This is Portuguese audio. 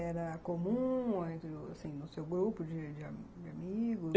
Era comum no seu grupo de de amigos?